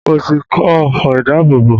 Mo ti kọ́ ọfọ̀ ìdábòbò